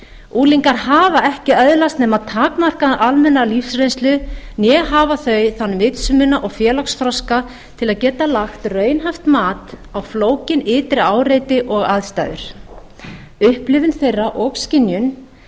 unglingar hafa ekki öðlast nema takmarkaða almenna lífsreynslu né hafa þeir þann vitsmuna og félagsþroska til að geta lagt raunhæft mat á flókin ytri áreiti og aðstæður upplifun þeirra og skynjun